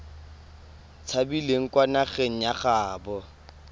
tshabileng kwa nageng ya gaabo